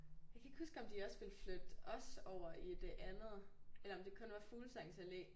Jeg kan ikke huske om de også ville flytte os over i det andet eller om det kun var Fuglesangs Allé